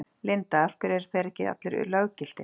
Linda: Af hverju eru þeir ekki allir löggiltir?